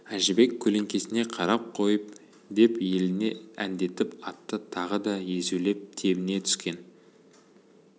әжібек көлеңкесіне қарап қойып деп еліре әндетіп атты тағы да езулеп тебіне түскен